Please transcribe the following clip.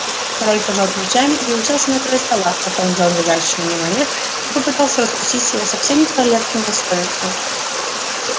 король пожал плечами и уселся на край стола потом взял лежащий на нем орех и попытался раскусить его совсем не с королевским достоинством